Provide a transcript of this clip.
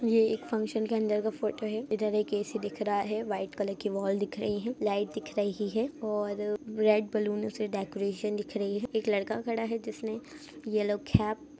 ये एक फंक्शन के अंदर का फोटो है इधर एक ए.सी. दिख रहा है वाइट कलर की वॉल दिख रही हैलाइट दिख रही है और रेड बलूनो से डेकोरशन दिख रही है एक लड़का खड़ा हैजिसने येलो केप --